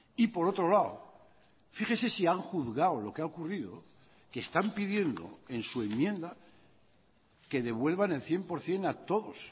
y por otro lado fíjese si han juzgado lo que ha ocurrido que están pidiendo en su enmienda que devuelvan el cien por ciento a todos